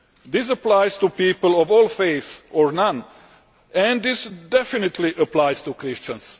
This applies to people of all faiths or none, and this definitely applies to Christians.